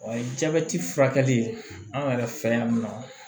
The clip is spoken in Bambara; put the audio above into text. A ye jabɛti furakɛ an yɛrɛ fɛ yan nɔ